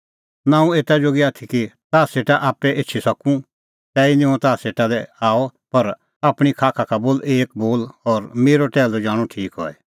नां हुंह एता जोगी आथी कि ताह सेटा आप्पै एछी सकूं तैही निं हुंह ताह सेटा लै आअ पर आपणीं खाखा का बोल एक बोल और मेरअ टैहलू जाणअ ठीक हई